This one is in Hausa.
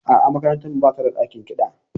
A'a, makarantar mu ba ta da ɗakin kiɗa.